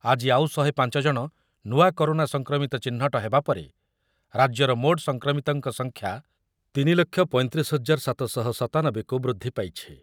ଆଜି ଆଉ ଶହେ ପାଞ୍ଚ ଜଣ ନୂଆ କରୋନା ସଂକ୍ରମିତ ଚିହ୍ନଟ ହେବାପରେ ରାଜ୍ୟର ମୋଟ ସଂକ୍ରମିତଙ୍କ ସଂଖ୍ୟା ତିନି ଲକ୍ଷ ପଇଁତିରିଶ ହଜାର ସାତ ଶହ ସତାନବେ କୁ ବୃଦ୍ଧି ପାଇଛି ।